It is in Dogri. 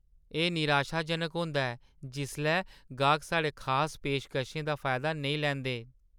एह् निराशाजनक होंदा ऐ जिसलै गाह्क साढ़े खास पेशकशें दा फायदा नेईं लैंदे न।